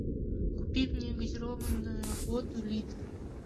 купи мне газированную воду литр